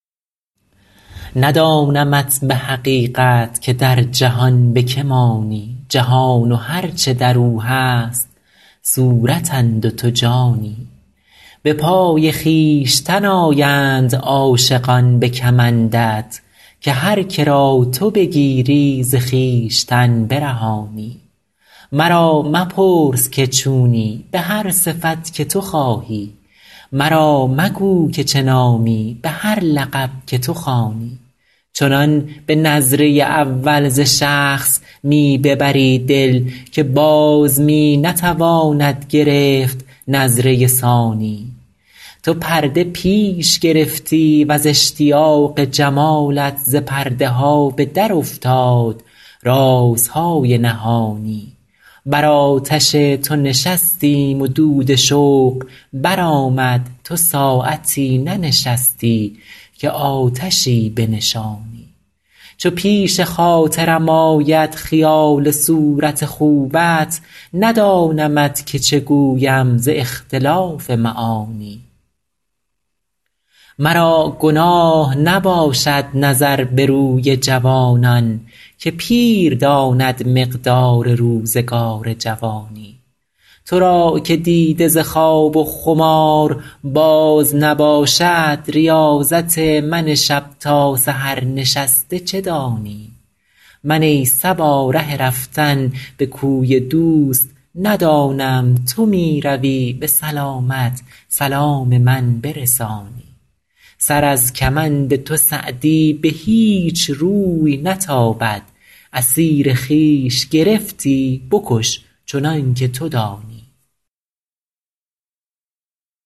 ندانمت به حقیقت که در جهان به که مانی جهان و هر چه در او هست صورتند و تو جانی به پای خویشتن آیند عاشقان به کمندت که هر که را تو بگیری ز خویشتن برهانی مرا مپرس که چونی به هر صفت که تو خواهی مرا مگو که چه نامی به هر لقب که تو خوانی چنان به نظره اول ز شخص می ببری دل که باز می نتواند گرفت نظره ثانی تو پرده پیش گرفتی و ز اشتیاق جمالت ز پرده ها به درافتاد رازهای نهانی بر آتش تو نشستیم و دود شوق برآمد تو ساعتی ننشستی که آتشی بنشانی چو پیش خاطرم آید خیال صورت خوبت ندانمت که چه گویم ز اختلاف معانی مرا گناه نباشد نظر به روی جوانان که پیر داند مقدار روزگار جوانی تو را که دیده ز خواب و خمار باز نباشد ریاضت من شب تا سحر نشسته چه دانی من ای صبا ره رفتن به کوی دوست ندانم تو می روی به سلامت سلام من برسانی سر از کمند تو سعدی به هیچ روی نتابد اسیر خویش گرفتی بکش چنان که تو دانی